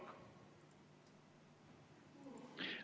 Palun!